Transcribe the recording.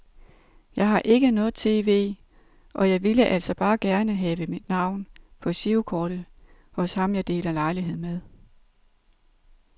Jeg har ikke noget tv, og jeg ville altså bare gerne have mit navn på girokortet hos ham jeg deler lejlighed med.